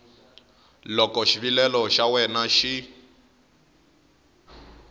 loko xivilelo xa wena xi